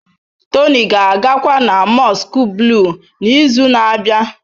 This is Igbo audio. Tony ga-agakwa na Mosque Blue n'izu na-abịa.